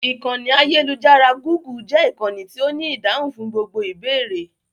Ìkànnì ayélujára "Gúgù" jẹ́ ìkànnì tí ó ní ìdáhùn fún gbogbo ìbéèrè.